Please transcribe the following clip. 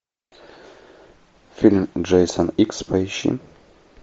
фильм джейсон икс поищи